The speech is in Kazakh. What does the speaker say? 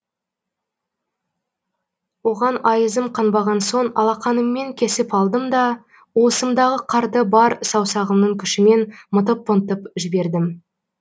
оған айызым қанбаған соң алақаныммен кесіп кеп алдым да уысымдағы қарды бар саусағымның күшімен мытып мытып жібердім